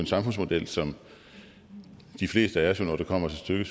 samfundsmodel som de fleste af os når det kommer til stykket